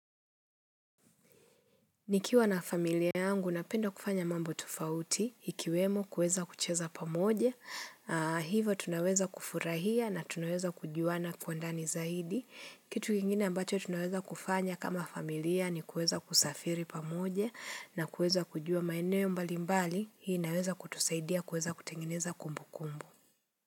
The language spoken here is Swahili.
Nikiwa na familia yangu napenda kufanya mambo tofauti, ikiwemo kuweza kucheza pamoja, hivo tunaweza kufurahia na tunaweza kujuana kwa ndani zaidi. Kitu kingine ambacho tunaweza kufanya kama familia ni kuweza kusafiri pamoja na kuweza kujua maeneo mbali mbali, hii inaweza kutusaidia kuweza kutengeneza kumbu kumbu.